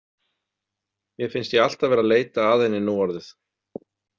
Mér finnst ég alltaf vera að leita að henni núorðið.